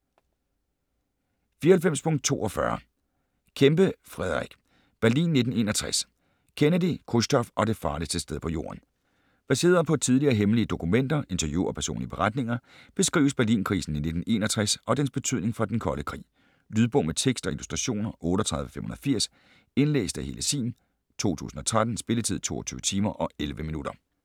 94.42 Kempe, Frederick: Berlin 1961: Kennedy, Khrusjtjov og det farligste sted på jorden Baseret på tidligere hemmelige dokumenter, interview og personlige beretninger beskrives Berlinkrisen i 1961 og dens betydning for den kolde krig. Lydbog med tekst og illustrationer 38580 Indlæst af Helle Sihm, 2013. Spilletid: 22 timer, 11 minutter.